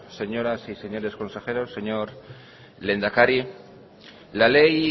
señoras y señores consejeros señor lehendakari la ley